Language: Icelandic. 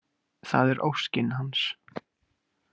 Það er óskin hans.